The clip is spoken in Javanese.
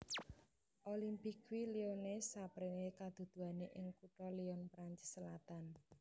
Olympique Lyonnais sapréné kaduduané ing kutha Lyon Prancis selatan